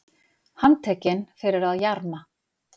Handtekinn fyrir að jarma